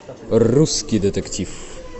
русский детектив